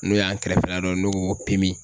N'o y'an kɛrɛfɛla dɔ n'o ko ko